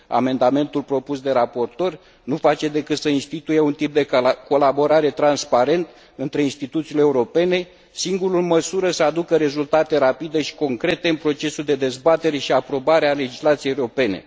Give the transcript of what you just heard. Amendamentul propus de raportor nu face decât să instituie un tip de colaborare transparent între instituțiile europene, singurul în măsură să aducă rezultate rapide și concrete în procesul de dezbatere și aprobare a legislației europene.